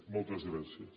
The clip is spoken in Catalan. moltes gràcies